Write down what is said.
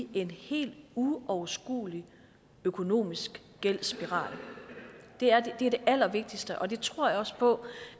i en helt uoverskuelig økonomisk gældsspiral det er det allervigtigste og jeg tror også på